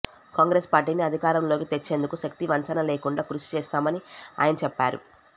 కాంగ్రెస్ పార్టీని అధికారంలోకి తెచ్చేందుకు శక్తి వంచనలేకుండా కృషి చేస్తామని ఆయన చెప్పారు